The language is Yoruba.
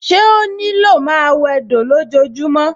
Ṣé ó ní lò máa wẹdò lójojúmọ́?